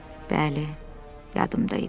Bəli, yadımda idi.